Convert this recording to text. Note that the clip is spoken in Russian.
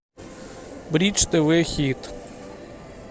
бридж тв хит